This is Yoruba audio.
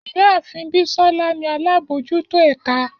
Iyaafin Bisola ni alabojuto ẹka.